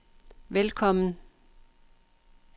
velkommen